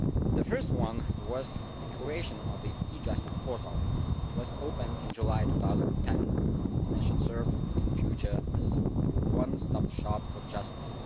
The first one was the creation of the e Justice Portal. It was opened in July 2010 and should serve in future as a one stop shop for justice.